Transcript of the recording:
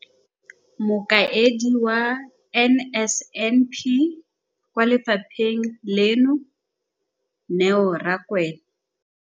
Mokaedi wa NSNP kwa lefapheng leno, Neo Rakwena.